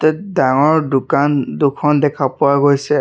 ডাঙৰ দোকান দুখন দেখা পোৱা গৈছে।